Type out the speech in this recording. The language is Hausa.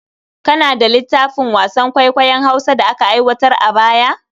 Kana da littafin wasan kwaikwayon Hausa da aka aiwatar a baya?